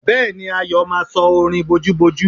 Bẹ́ẹ̀ni, Ayọ̀ máa sọ orin bojúbojú?